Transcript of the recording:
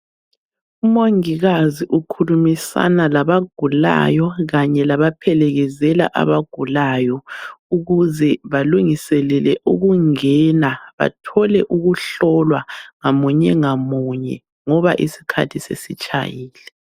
UMongikazi ukhulumisana labagulayo kanye labaphelekezela abagulayo ukuze balungiselele ukungena, bathole ukuhlolwa ngamunye ngamunye ngoba isikhathi sesitshayile.